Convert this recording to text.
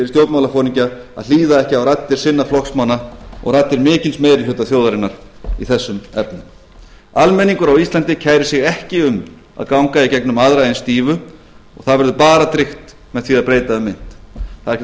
stjórnmálaforingja að hlýða ekki á raddir sinna flokksmanna og raddir mikils meiri hluta þjóðarinnar í þessum efnum almenningur á íslandi kærir sig ekki um að ganga í gegnum aðra eins dýfu það verður bara tryggt með því að breyta um mynt það er ekki